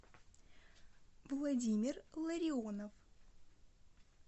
владимир ларионов